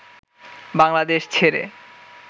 বাংলাদেশ ছেড়ে